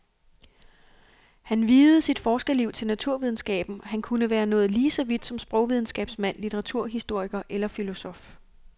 Han viede sit forskerliv til naturvidenskaben, han kunne være nået lige så vidt som sprogvidenskabsmand, litteraturhistoriker eller filosof.